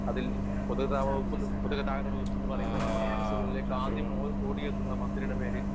speaker 1 അതിൽ പൊതുഗതാഗത വകുപ്പെന്ന് പൊതുഗതാഗത വകുപ്പെന്നു പറയുമ്പോൾ നമ്മടെ മനസ്സുകളിലേക്ക് ആദ്യം ഓ ഓടിയെത്തുന്ന മന്ത്രിടെ പേര്